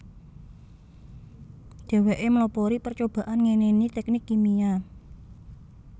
Dheweke mlopori percobaan ngenani teknik kimia